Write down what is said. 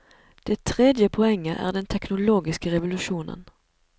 Det tredje poenget er den teknologiske revolusjonen.